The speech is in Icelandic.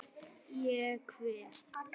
Ég kveð.